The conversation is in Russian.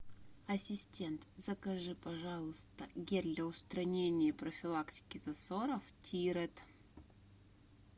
ассистент закажи пожалуйста гель для устранения и профилактики засоров тирет